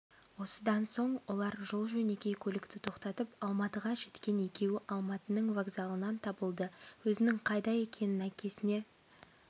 осыдан соң олар жол-жөнекей көлікті тоқтатып алматыға жеткен екеуі алматының вокзалынан табылды өзінің қайда екенін әкесіне